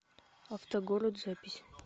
автогород запись